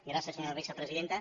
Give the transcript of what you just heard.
gràcies senyora vicepresidenta